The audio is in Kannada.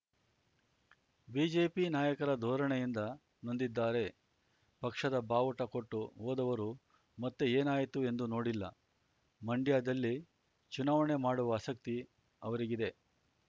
ಬಿಜೆಪಿ ನಾಯಕರ ಧೋರಣೆಯಿಂದ ನೊಂದಿದ್ದಾರೆ ಪಕ್ಷದ ಬಾವುಟ ಕೊಟ್ಟು ಹೋದವರು ಮತ್ತೆ ಏನಾಯಿತು ಎಂದು ನೋಡಿಲ್ಲ ಮಂಡ್ಯದಲ್ಲಿ ಚುನಾವಣೆ ಮಾಡುವ ಆಸಕ್ತಿ ಅವರಿಗಿದೆ